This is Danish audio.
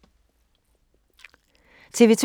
TV 2